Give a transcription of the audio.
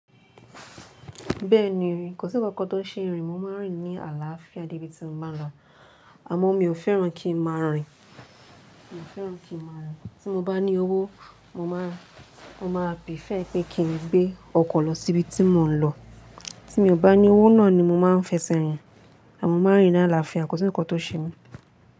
Bẹ́ẹ̀ni, kò sí ǹkan kan tó ṣe èrìń, mo máa ń rìn ní àlàáfíà dé ibi tí mo máa ń lọ, àmọ́ mi ò fẹ́ràn kí ń máa rìn, mi ò fẹ́ràn kí ń máa rìn. Tí mo bá ní owó, mo máa, mo máa bífẹ̀ pé kí n gbé ọkọ̀ lọ sí ibi tí mò ń lọ. Tí mi ò bá ní owó náà ni mo máa ń fẹsẹ̀ rìn, àmọ́ mo máa ń rìn ní àlàáfíà, kò sí ǹkan tó ṣe mí.